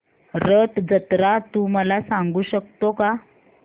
रथ जत्रा तू मला सांगू शकतो का